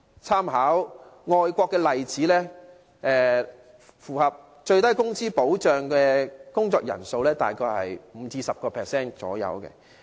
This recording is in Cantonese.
參考外國的例子，符合最低工資保障的工作人數大約是 5% 至 10%。